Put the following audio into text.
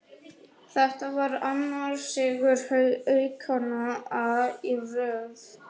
Þetta var annar sigur Haukanna í röð.